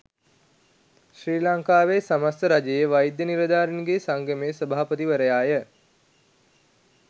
ශ්‍රී ලංකාවේ සමස්ථ රජයේ වෛද්‍ය නිලධාරීන්ගේ සංගමේ සභාපතිවරයාය.